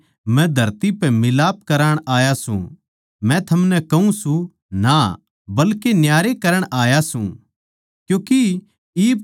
के थम समझो सो के मै धरती पै मिलाप करवाण आया सूं मै थमनै कहूँ सूं ना बल्के न्यारे करण आया सूं